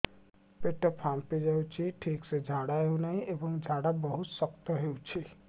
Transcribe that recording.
ପେଟ ଫାମ୍ପି ଯାଉଛି ଠିକ ସେ ଝାଡା ହେଉନାହିଁ ଏବଂ ଝାଡା ବହୁତ ଶକ୍ତ ହେଉଛି